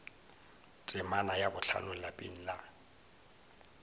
temana ya bohlano lapeng la